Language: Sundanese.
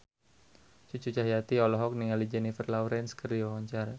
Cucu Cahyati olohok ningali Jennifer Lawrence keur diwawancara